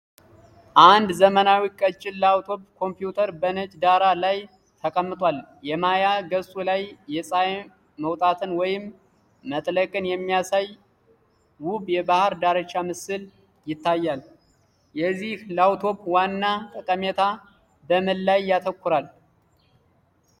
አንድ ዘመናዊ ቀጭን ላፕቶፕ ኮምፒውተር በነጭ ዳራ ላይ ተቀምጧል። የማያ ገጹ ላይ የፀሀይ መውጣትን ወይም መጥለቅን የሚያሳይ ውብ የባህር ዳርቻ ምስል ይታያል። የዚህ ላፕቶፕ ዋና ጠቀሜታ በምን ላይ ያተኩራል?